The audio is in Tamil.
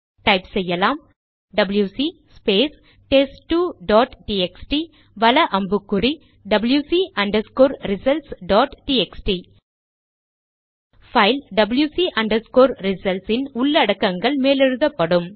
டைப் அடிக்கலாம் W C space test two dot T X T வல அம்புக்குறிடபில்யுசி results dot T X T file W C results இன் உள்ளடக்கங்கள் மேலெழுதப்படும்